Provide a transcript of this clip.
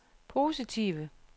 positive